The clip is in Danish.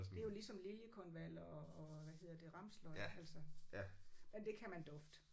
Det er jo ligesom liljekonvaller og og hvad hedder det ramsløg altså. Men det kan man dufte